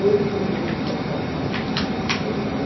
Ele pegou, tirou a foto do cachorro, mandou revelar.